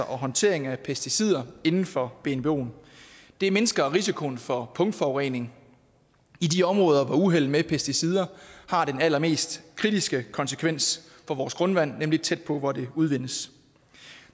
og håndtering af pesticider inden for bnboen det mindsker risikoen for punktforurening i de områder hvor uheld med pesticider har den allermest kritiske konsekvens for vores grundvand nemlig tæt på hvor det udvindes